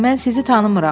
amma mən sizi tanımıram.